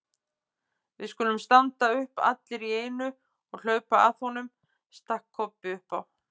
Við skulum standa upp allir í einu og hlaupa að honum, stakk Kobbi upp á.